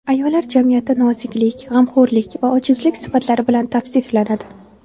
Ayollar jamiyatda noziklik, g‘amxo‘rlik va ojizlik sifatlari bilan tavsiflanadi.